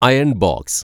iron‍ box